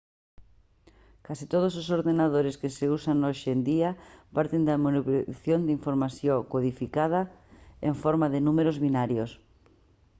case todos os ordenadores que se usan hoxe en día parten da manipulación de información codificada en forma de números binarios